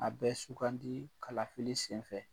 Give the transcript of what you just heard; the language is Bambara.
A bɛ sugandi kalafili senfɛ.